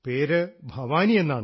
പേര് ഭവാനി എന്നാണ്